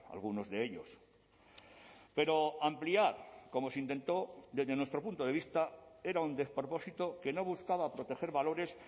algunos de ellos pero ampliar como se intentó desde nuestro punto de vista era un despropósito que no buscaba proteger valores